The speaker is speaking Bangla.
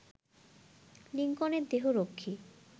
লিংকনের দেহরক্ষী